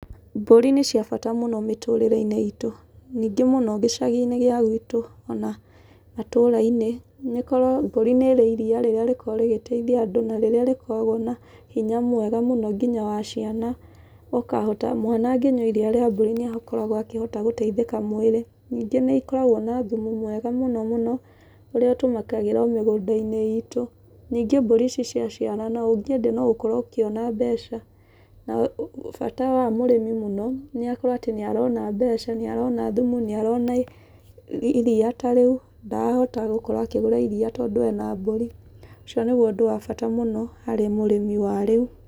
Mbũri nĩ cia bata mũno mĩtũrĩre-inĩ iitũ. Ningĩ mũno gĩcagi-inĩ gĩa gwitũ ona matũũra-inĩ, nĩ ũkoraga mbũri nĩ ĩrĩ iriia rĩrĩa rĩkoragwo rĩgĩteithia andũ na rĩrĩa rĩkoragwo na hinya mwega mũno nginya wa ciana ũkahota mwana angĩnyua iriia rĩa mbũri nĩ akoragwo akĩhota gũteithĩka mwĩrĩ. Ningĩ nĩ ikoragwo na thumu mwega mũno mũno, ũrĩa ũtũmĩkagĩra o mĩgũnda-inĩ iitũ. Ningĩ mbũri ici ciaciarana, ũngĩendia no ũkorwo ũkĩona mbeca. Na bata wa mũrĩmi mũno, nĩ akorwo atĩ nĩ arona mbeca, nĩ arona thumu, nĩ arona iriia ta rĩu, na ndarahota gũkorwo akĩgũra iriia tondũ ena mbũri. Ũcio nĩguo ũndũ wa bata mũno harĩ mũrĩmi wa rĩu.